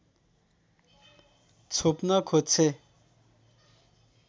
छोप्न खोज्छे